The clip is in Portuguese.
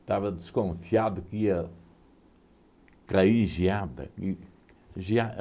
Estava desconfiado que ia cair geada. E gea